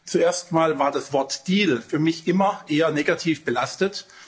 Zuerst mal war das Wort Deal für mich immer eher negativ belastet.